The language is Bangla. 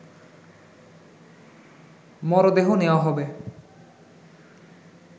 মরদেহ নেয়া হবে